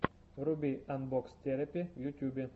вруби анбокс терапи в ютьюбе